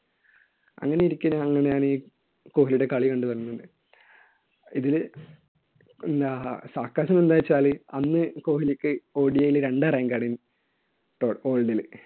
അങ്ങനെയിരിക്കെ, അങ്ങനെയാണ് ഈ കോഹ്ലിയുടെ കളി കണ്ടുവരുന്നത്. ഇതില് പിന്നെ എന്താണെന്നുവെച്ചാല് അന്ന് കോഹ്ലിക്ക് ODI ൽ രണ്ടാം rank ആണ്. whole world ല്.